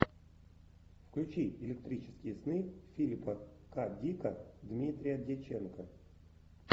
включи электрические сны филипа к дика дмитрия дьяченко